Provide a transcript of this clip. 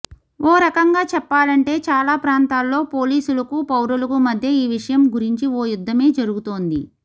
ఓ రకంగా చెప్పాలంటే చాలా ప్రాంతాల్లో పోలీసులకు పౌరులకు మధ్య ఈ విషయం గురించి ఓ యుద్ధమే జరుగుతోంది